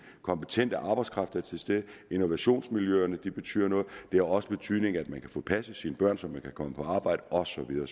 kompetente arbejdskraft er til stede innovationsmiljøerne betyder noget det har også betydning at man kan få passet sine børn så man kan komme på arbejde og så videre